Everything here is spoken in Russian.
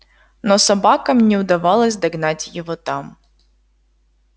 но собакам не удавалось догнать его там